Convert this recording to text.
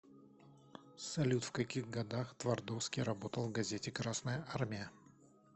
салют в каких годах твардовский работал в газете красная армия